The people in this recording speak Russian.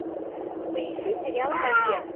поищи сериал побег